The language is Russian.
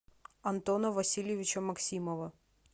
антона васильевича максимова